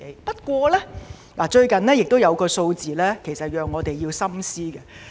不過，最近有一項數字，讓我們要深思。